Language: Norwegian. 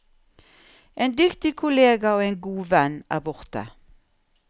En dyktig kollega og en god venn er borte.